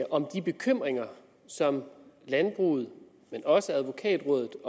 om de bekymringer som landbruget og også advokatrådet